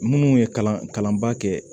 Minnu ye kalan kalanba kɛ